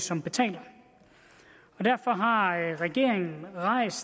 som betaler derfor har regeringen rejst